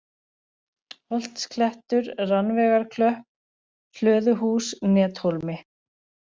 Holtsklettur, Rannveigarklöpp, Hlöðuhús, Nethólmi